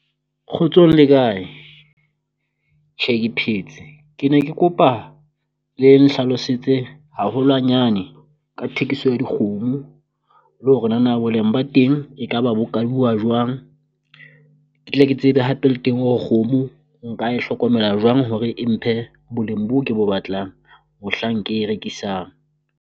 Kgotsong le kae? Tjhe ke phetse ke ne ke kopa le nhlalosetse haholwanyane ka thekiso ya dikgomo le hore nana boleng ba teng ekaba bo kaulwa jwang. Ke tla ke tleke tsebe hape le teng hore kgomo nka e hlokomela jwang hore e mphe boleng boo ke bo batlang mohlang ke e rekisang.